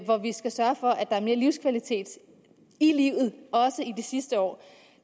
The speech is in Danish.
hvor vi skal sørge for at der er mere livskvalitet i livet også i de sidste år